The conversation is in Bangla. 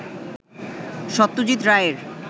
সত্যজিৎ রায়ের